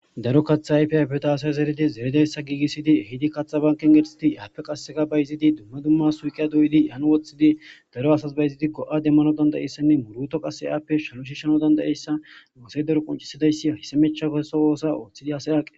Daro katha ayfi ayfeto haasay zeridi zeridayssa giigissidi hidi katha banken gersidi yaappe qasseka ba yizidi dumma dumma suuqeya doyidi yan woxxhidi daro asas ba izidikko7a demmano dandayeyssanne murto qasse aappe shalu shishano dandayeyssanoose daro qoncisadayssi hisemecha koeso oosa ooththidi asay aaqes.